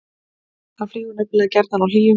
hann flýgur nefnilega gjarnan á hlýjum